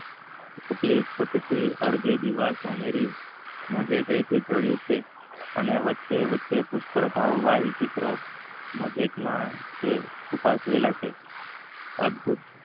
કેટલીકે ચેટ થી સોનેરી દીવાલ સોનેરી મોઠે થી સાલી છે. અને વચ્ચે થી પુષ્કળ ભાવિ ચિત્રો ઉપ્સાવેલ છે.